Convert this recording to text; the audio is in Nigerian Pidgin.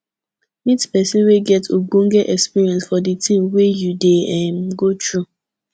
meet person wey get ogbonge experience for di thing wey you dey um go through